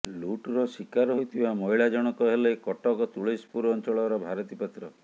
ଲୁଟର ଶିକାର ହୋଇଥିବା ମହିଳା ଜଣକ ହେଲେ କଟକ ତୁଳସୀପୁର ଅଞ୍ଚଳର ଭାରତୀ ପାତ୍ର